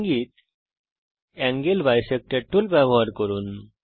ইঙ্গিত angle bisector tool ব্যবহার করুন